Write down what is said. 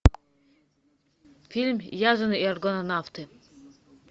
фильм язон и аргонавты